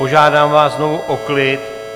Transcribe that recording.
Požádám vás znovu o klid.